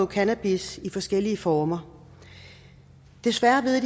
cannabis i forskellige former desværre ved